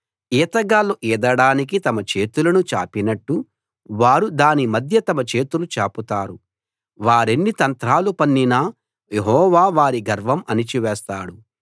ఈతగాళ్ళు ఈదడానికి తమ చేతులను చాపినట్టు వారు దాని మధ్య తమ చేతులు చాపుతారు వారెన్ని తంత్రాలు పన్నినా యెహోవా వారి గర్వం అణచివేస్తాడు